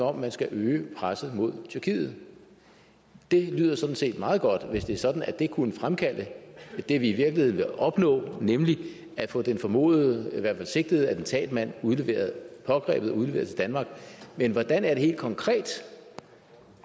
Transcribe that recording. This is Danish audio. om at man skal øge presset mod tyrkiet det lyder sådan set meget godt hvis det er sådan at det kunne fremkalde det vi i virkeligheden vil opnå nemlig at få den formodede eller i hvert fald sigtede attentatmand pågrebet og udleveret til danmark men hvordan er det helt konkret